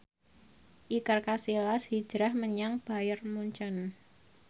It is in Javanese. Iker Casillas hijrah menyang Bayern Munchen